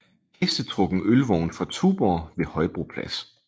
Hestetrukken ølvogn fra Tuborg ved Højbroplads